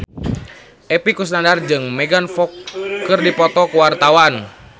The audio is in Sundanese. Epy Kusnandar jeung Megan Fox keur dipoto ku wartawan